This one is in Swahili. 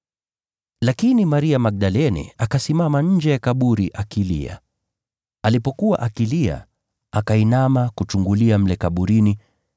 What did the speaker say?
Lakini Maria Magdalene akasimama nje ya kaburi akilia. Alipokuwa akilia, akainama, kuchungulia mle kaburini,